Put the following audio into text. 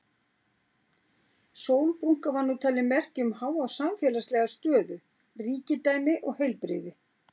Sólbrúnka var nú talin merki um háa samfélagslega stöðu, ríkidæmi og heilbrigði.